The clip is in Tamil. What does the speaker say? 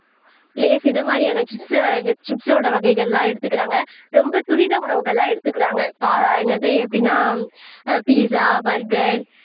லேஸ் இதை மாதிரியான சிப்ஸ் வகைக சிப்ஸ் ஓட வகைகள்லாம் எடுத்துக்கிறாங்க ரொம்ப துரித உணவுகள்லாம் எடுத்துக்கிறாங்க என்னது எப்படின்னா அஹ் பிசா பர்கர்